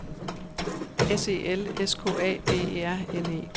S E L S K A B E R N E